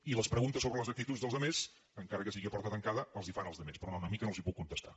i les preguntes sobre les actituds dels altres encara que sigui a porta tancada els les fan als altres però no a mi que no els les puc contestar